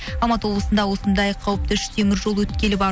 алматы облысында осындай қауіпті үш темір жол өткелі бар